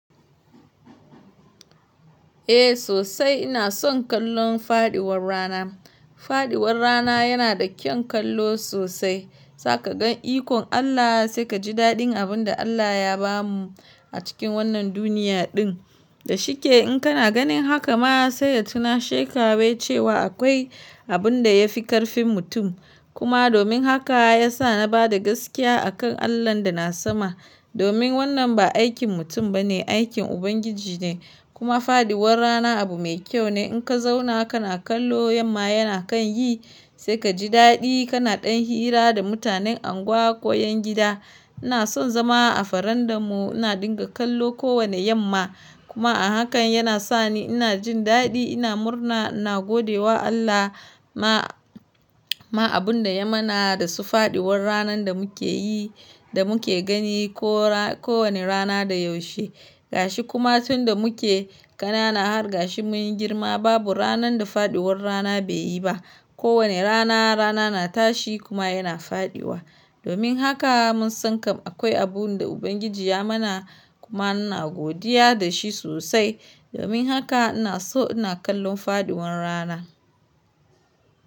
Eh sosai ina son kallon faduwar rana. Faduwar rana yana da kyan kallo sosai. Sa ka ga ikon Allah sai ka ji dadin abin da Allah ya bamu a cikin wannan duniya din. Da shike in kana ganin haka ma sai ya tuna she ka wai cewa akwai abin da ya fi ƙarfin mutum. Kuma domin haka ya sa na bada gaskiya akan Allahn da na sama. Sa ka ga ikon Allah sai ka ji dadin abin da Allah ya bamu a cikin wannan duniya din. Kuma fadiwar rana abu mai kyau ne. In ka zauna kana kallo yamma yana kan yi sai ka ji dadi kana ɗan hira da mutanen unguwa ko yan gida. Ina son zama a farandan mu ina dinga kallo ko wane yamma. Kuma a hakan yana sani ina jin dadi ina murna ina gode wa Allah ma-ma abun da ya mana da su fadiwar ranan da muke yi da muke gani ko ra-ko wane rana da yaushe. Gashi kuma tunda muke kanana hargashi mun yi girma babu ranan da fadiwar rana bai yi ba. Ko wane rana rana na tashi kuma yana fadiwa. Domin haka mun san kam akwai abun da Ubangiji ya mana kuma ina godiya da shi sosai. Domin haka ina so ina kallon fadiwar rana.